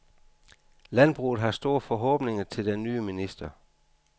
Landbruget har store forhåbninger til den nye minister.